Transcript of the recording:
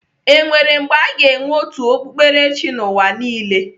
Enwere mgbe aga enwe otu okpukperechi n'ụwa niile?